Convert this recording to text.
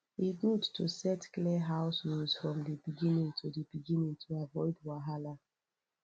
e good to set clear house rules from the beginning to the beginning to avoid wahala